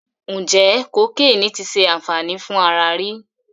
Ǹjẹ́ kokéènì ti ṣe àǹfàní fún ara rí?